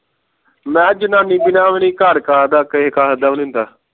ਮੈ ਜਨਾਨੀ ਬਿਨਾ ਵੀ ਨਹੀਂ ਘਰ ਨਹੀਂ ਹੁੰਦਾ